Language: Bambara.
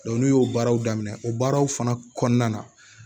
n'u y'o baaraw daminɛ o baaraw fana kɔnɔna na